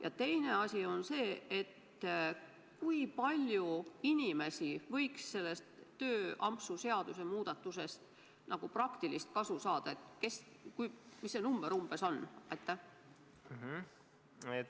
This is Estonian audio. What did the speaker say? Ja teine küsimus: kui palju inimesi võiks sellest tööampsu seadusmuudatusest praktilist kasu saada – kes need on ja mis see number umbes on?